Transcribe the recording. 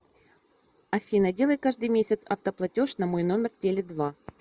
афина делай каждый месяц автоплатеж на мой номер теле два